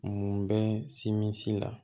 Mun bɛ simisi la